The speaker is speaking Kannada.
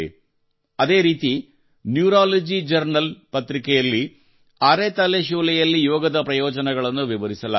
ಅದೇ ರೀತಿ ನ್ಯೂರಾಲಜಿ ಜರ್ನಲ್ ಪತ್ರಿಕೆಯಲ್ಲಿ ಅರೆ ತಲೆಶೂಲೆಯಲ್ಲಿ ಯೋಗದ ಪ್ರಯೋಜನಗಳನ್ನು ವಿವರಿಸಲಾಗಿದೆ